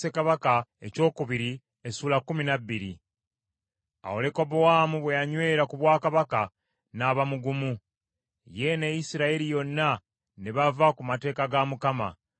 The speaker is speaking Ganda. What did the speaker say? Awo Lekobowaamu bwe yanywera ku bwakabaka, n’aba mugumu, ye ne Isirayiri yonna ne bava ku mateeka ga Mukama .